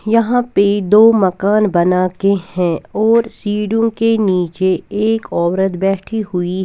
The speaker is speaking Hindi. यहां पे दो मकान बनाके है और सीडुं के नीचे एक औरत बैठी हुई--